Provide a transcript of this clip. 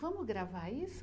Vamos gravar isso?